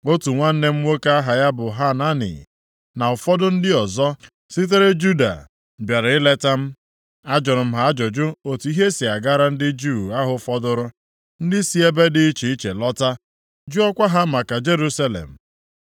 otu nwanne m nwoke aha ya bụ Hanani, + 1:2 Ọ ga-abụ onye nne ji ya na Nehemaya, onye bịara zie ya ozi banyere ọnọdụ Jerusalem. \+xt Neh 7:2\+xt* na ụfọdụ ndị ọzọ sitere Juda bịara ileta m. Ajụrụ m ha ajụjụ otu ihe si agara ndị Juu ahụ fọdụrụ, ndị si ebe dị iche iche lọta, jụọkwa ha maka Jerusalem.